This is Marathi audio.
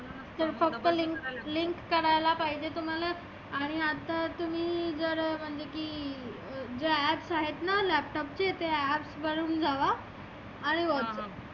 ते फक्त link link करायला पाहिजे तुम्हाला आणि आता तुम्ही जर म्हणजे की जे apps आहेत ना Laptop चे ते apps वरुण जावा आहे वाटतं